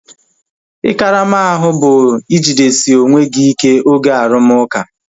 Ị karama ahu bu ijidesi onwe gị ike oge arumuka